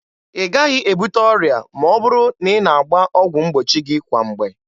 Ị gaghị ebute ọrịa ma ọ bụrụ na ị na-agba ọgwụ mgbochi gị kwa mgbe.